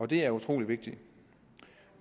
det er utrolig vigtigt